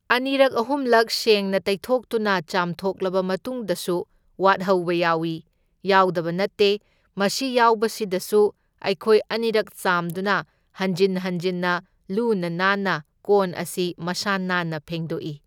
ꯑꯅꯤꯔꯛ ꯑꯍꯨꯝꯂꯛ ꯁꯦꯡꯅ ꯇꯩꯊꯣꯛꯇꯨꯅ ꯆꯥꯝꯊꯣꯛꯂꯕ ꯃꯇꯨꯡꯗꯁꯨ ꯋꯥꯠꯍꯧꯕ ꯌꯥꯎꯏ, ꯌꯥꯎꯗꯕ ꯅꯠꯇꯦ, ꯃꯁꯤ ꯌꯥꯎꯕꯁꯤꯗꯁꯨ ꯑꯩꯈꯣꯏ ꯑꯅꯤꯔꯛ ꯆꯥꯝꯗꯨꯅ ꯍꯟꯖꯤꯟ ꯍꯟꯖꯤꯟꯅ ꯂꯨꯅ ꯅꯥꯟꯅ ꯀꯣꯟ ꯑꯁꯤ ꯃꯁꯥ ꯅꯥꯟꯅ ꯐꯦꯡꯗꯣꯛꯏ꯫